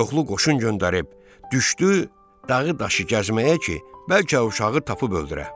Çoxlu qoşun göndərib düşdü dağı daşı gəzməyə ki, bəlkə uşağı tapıb öldürə.